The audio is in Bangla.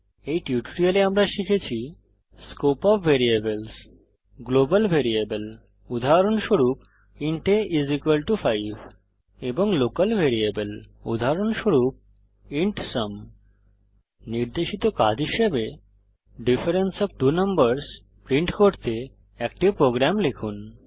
এই টিউটোরিয়ালে আমরা শিখেছি scope of variables global variable উদাহরণস্বরূপ ইন্ট a 5 এবং লোকাল ভ্যারিয়েবল উদাহরণস্বরূপ ইন্ট সুম নির্দেশিত কাজ হিসাবে difference of two numbers print করতে একটি প্রোগ্রাম লিখুন